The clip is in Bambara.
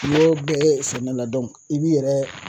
N'i y'o bɛɛ kɛ samiyɛ na i b'i yɛrɛ